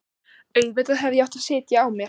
Auðvitað hefði ég átt að sitja á mér.